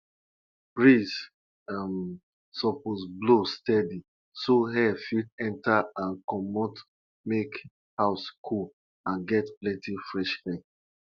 dem use dem use camwood powder take paint the sheep body before them go use am for our ancestor animal sacrifice.